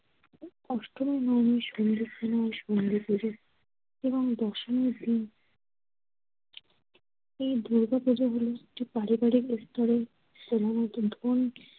অষ্টমীর সন্ধ্যের সময় হয় সন্ধ্যে পুজো এবং দশমীর দিন এ দুর্গাপুজোগুলো কিছু পারিবারিক স্তরে প্রধানত ধনী